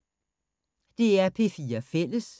DR P4 Fælles